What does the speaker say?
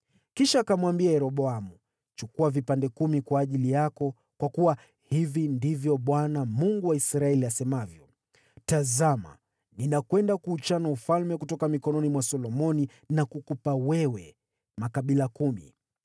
Kisha akamwambia Yeroboamu, “Chukua vipande kumi kwa ajili yako, kwa kuwa hivi ndivyo Bwana , Mungu wa Israeli asemavyo: ‘Tazama, ninakwenda kuuchana ufalme kutoka mikononi mwa Solomoni na kukupa wewe makabila kumi.